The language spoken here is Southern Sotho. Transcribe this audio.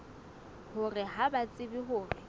hore ha ba tsebe hore